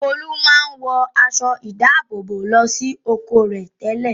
Olú máa ń wọ aṣọ-ìdáàbòbò lọ sí oko rẹ̀ tẹ́lẹ̀.